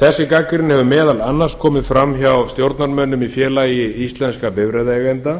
þessi gagnrýni hefur meðal annars komið fram hjá stjórnarmönnum í félagi íslenskum bifreiðaeigenda